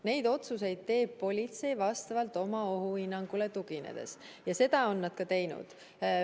Neid otsuseid teeb politsei oma ohuhinnangule tuginedes ja seda on nad ka teinud.